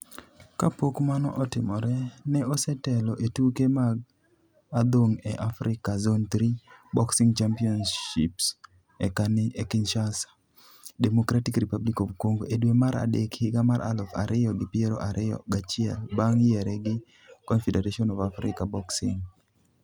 Kapok mano otimore, ne osetelo e tuke mag adhong' e Afrika Zone Three Boxing Championships e Kinshasa, Democratic Republic of Congo e dwe mar adek higa mar aluf ariyo gi piero ariyo gachiel bang' yiere gi Confederation of African Boxing (CAB).